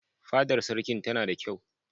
Fadar Sarkin tana da kyau.